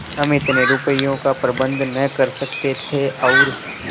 हम इतने रुपयों का प्रबंध न कर सकते थे और